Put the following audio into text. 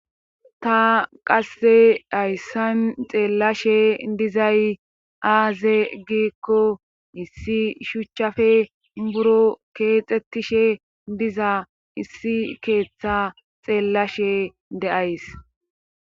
ta qasse hayssan xeellashe dizay aaze gikko issi shuchchafe buro keexxetishe diza issi keeththa xeellashe deays